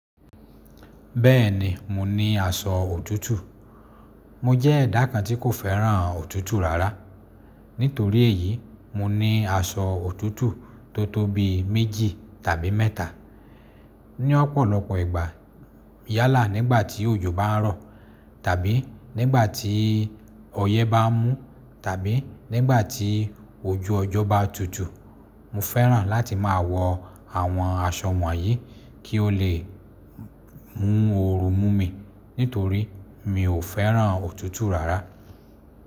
Bẹ́ẹ̀ni, mo ní aṣọ òtútù. Mo jẹ́ ẹ̀dá kan tí kò fẹ́ràn òtútù rárá. Nítorí èyí, mo ní aṣọ òtútù tó tóbi méjì tàbí mẹ́ta. Ní ọ̀pọ̀lọpọ̀ ìgbà, yálà nígbà tí òjò bá ń rọ̀, tàbí nígbà tí ọyẹ́ bá ń mú, tàbí nígbà tí ojú ọjọ́ bá tutù, mo fẹ́ràn láti máa wọ àwọn aṣọ wọ̀nyí kí ó lè mú oorun mú mi, nítorí mi ò fẹ́ràn òtútù rárá.